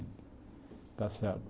Está certo.